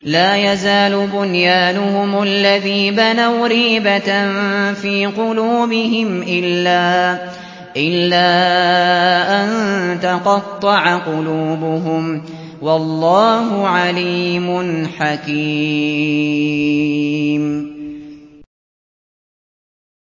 لَا يَزَالُ بُنْيَانُهُمُ الَّذِي بَنَوْا رِيبَةً فِي قُلُوبِهِمْ إِلَّا أَن تَقَطَّعَ قُلُوبُهُمْ ۗ وَاللَّهُ عَلِيمٌ حَكِيمٌ